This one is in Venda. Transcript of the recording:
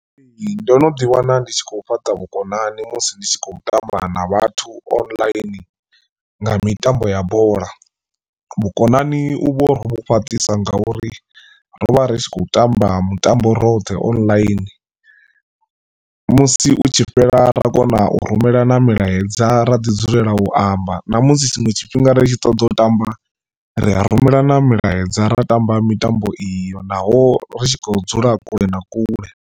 Ndo no ḓi wana ndi tshi khou fhaṱa vhukonani musi ndi tshi khou tamba na vhathu online nga mitambo ya bola. Vhukonani u vho ri vhu fhaṱisa nga uri ro vha ri tshi khou tamba mutambo roṱhe online musi u tshi fhela ra kona u rumelana milaedza ra ḓi dzulela u amba ṋamusi tshiṅwe tshifhinga ri tshi ṱoḓa u tamba ri a rumelana milaedza ra tamba mitambo iyo naho ri tshi khou dzula kule na kule.